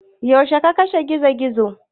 Yaushe ka kashe Gizo-gizon?